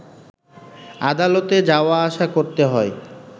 আদালতে যাওয়া আসা করতে হয়